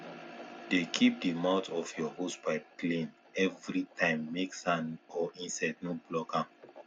dey keep the mouth of your hosepipe clean everytimemake sand or insect no block am